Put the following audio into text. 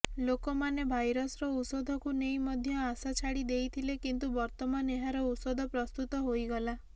ଲୋକମାନେ ଭାଇରସର ଔଷଧକୁ ନେଇ ମଧ୍ୟ ଆଶା ଛାଡିଦେଇଥିଲେ କିନ୍ତୁ ବର୍ତ୍ତମାନ ଏହାର ଔଷଧ ପ୍ରସ୍ତୁତ ହୋଇଗଲା